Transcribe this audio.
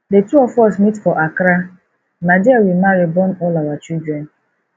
the two of us meet for accra na there we marry born all our children